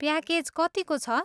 Package कतिको छ?